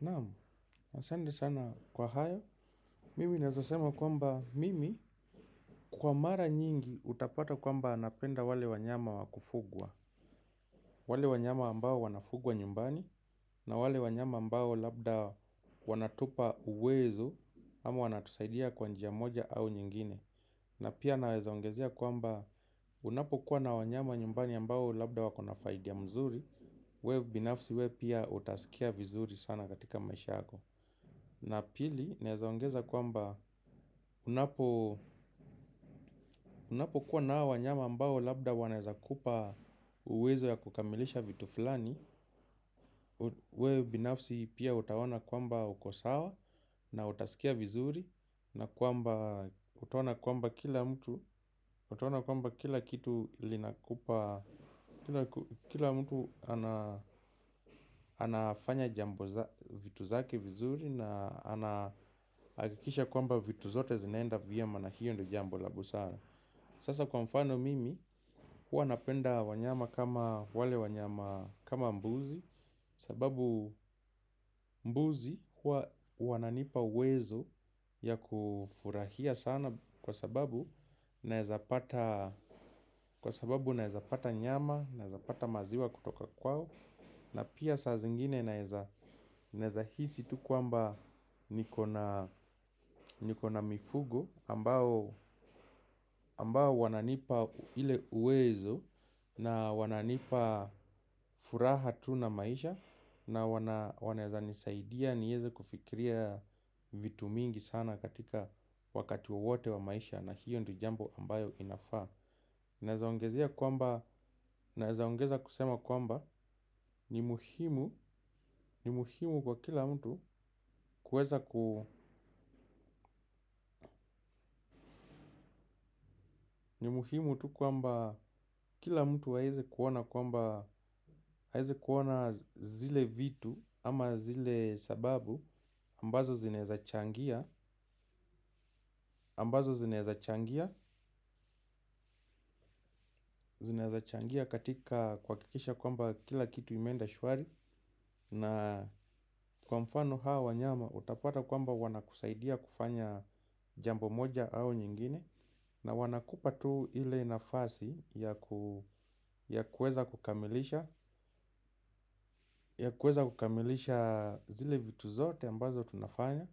Naam, asante sana kwa hayo, mimi naeza sema kwamba mimi kwa mara nyingi utapata kwamba napenda wale wanyama wa kufugwa. Wale wanyama ambao wanafugwa nyumbani na wale wanyama ambao labda wanatupa uwezo ama wanatusaidia kwa njia moja au nyingine. Na pia naeza ongezea kwamba unapokuwa na wanyama nyumbani ambao labda wako na faidi ya mzuri wewe binafsi wewe pia utasikia vizuri sana katika maisha yako. Na pili, naeza ongeza kwamba unapokuwa na hao wanyama ambao labda wanaeza kupa uwezo ya kukamilisha vitu fulani wewe binafsi pia utaona kwamba uko sawa na utasikia vizuri. Na kwamba, utaona kwamba kila mtu, utaona kwamba kila kitu linakupa, kila mtu anafanya jambo vitu zake vizuri na anahakikisha kwamba vitu zote zinaenda vyema na hiyo ndo jambo la busara. Sasa kwa mfano mimi huwa napenda wanyama kama wale wanyama kama mbuzi. Sababu mbuzi huwa wananipa uwezo ya kufurahia sana kwa sababu naeza pata nyama naeza pata maziwa kutoka kwao. Na pia saa zingine naeza hisi tu kwamba niko na mifugo ambao wananipa ile uwezo na wananipa furaha tu na maisha. Na wanaeza nisaidia nieze kufikiria vitu mingi sana katika wakati wowote wa maisha na hiyo ndio jambo ambayo inafaa. Naeza ongezea kwamba, naeza ongeza kusema kwamba ni muhimu, ni muhimu kwa kila mtu kuweza ku, ni muhimu tu kwamba kila mtu aeze kuona kwamba, aeze kuona zile vitu ama zile sababu, ambazo zinaeza changia, ambazo zinaeza changia, zinaeza changia katika kuhakikisha kwamba kila kitu imeenda shwari. Na kwa mfano hawa nyama utapata kwamba wanakusaidia kufanya jambo moja au nyingine. Na wanakupa tu ile nafasi ya kueza kukamilisha zile vitu zote ambazo tunafanya.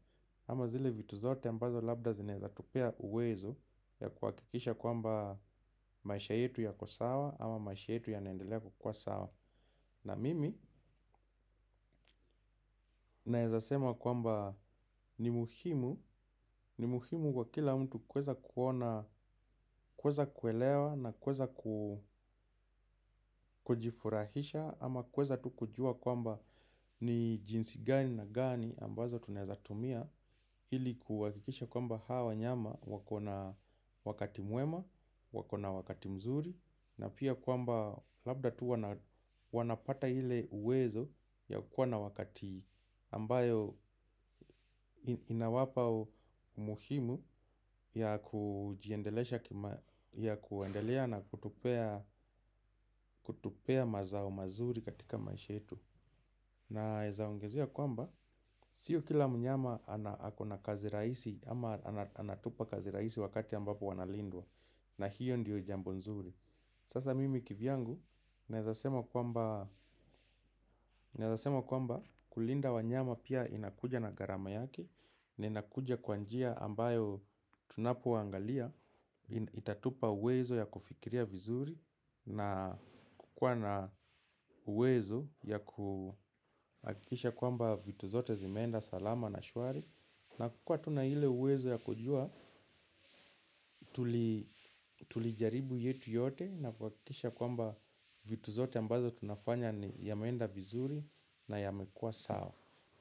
Ama zile vitu zote ambazo labda zinaeza tupea uwezo ya kuhakikisha kwamba maisha yetu yako sawa. Ama maisha yetu yanaendelea kukua sawa. Na mimi naeza sema kwamba ni muhimu, ni muhimu kwa kila mtu kueza kuona, kueza kuelewa na kueza ku kujifurahisha ama kueza tu kujua kwamba ni jinsi gani na gani ambazo tunaeza tumia ili kuhakikisha kwamba hawa nyama wako na wakati mwema, wako na wakati mzuri. Na pia kwamba labda tu wanapata ile uwezo ya kukua na wakati ambayo inawapa umuhimu ya kuendelea na kutupea mazao mazuri katika maisha yetu. Naeza ongezea kwamba sio kila mnyama ana ako na kazi rahisi ama anatupa kazi rahisi wakati ambapo wanalindwa na hiyo ndiyo jambo nzuri. Sasa mimi kivyangu naeza sema kwamba naeza sema kwamba kulinda wanyama pia inakuja na gharama yake, na inakuja kwa njia ambayo tunapoangalia, itatupa uwezo ya kufikiria vizuri, na kukua na uwezo ya kuhakikisha kwamba vitu zote zimeenda salama na shwari. Na kukua tuvna ile uwezo ya kujua, tulijaribu yetu yote na kuhakikisha kwamba vitu zote ambazo tunafanya ni yameenda vizuri na yamekua sawa.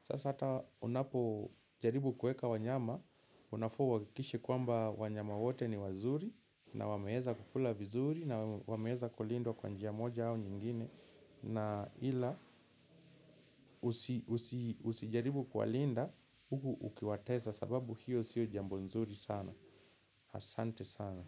Sasa hata unapojaribu kueka wanyama, unafaa uhakikishe kwamba wanyama wote ni wazuri na wameeza kukula vizuri na wameeza kulindwa kwa njia moja au nyingine. Na ila usijaribu kuwalinda huku ukiwatesa sababu hiyo siyo jambo nzuri sana asante sana.